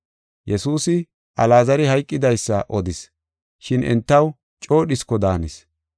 Yesuusi Alaazari hayqidaysa odis, shin entaw coo dhisko daanis.